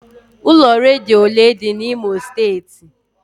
Ụlọ redio ole dị n'Imo steeti?